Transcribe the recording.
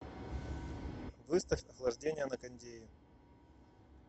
выставь охлаждение на кондее